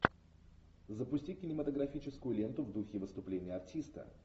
запусти кинематографическую ленту в духе выступления артиста